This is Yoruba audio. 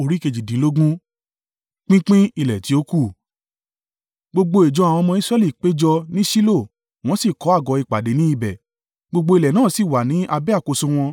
Gbogbo ìjọ àwọn ọmọ Israẹli péjọ ní Ṣilo, wọ́n si kọ́ àgọ́ ìpàdé ní ibẹ̀. Gbogbo ilẹ̀ náà sì wà ní abẹ́ àkóso wọn,